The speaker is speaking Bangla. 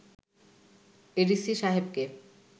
এডিসি সাহেবকে